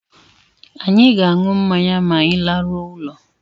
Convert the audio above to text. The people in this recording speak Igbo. Anyị ga-aṅụ mmanya ma anyị laruo ulo